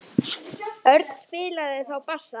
Örn spilaði þá á bassa.